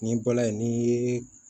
Ni balan ye n'i ye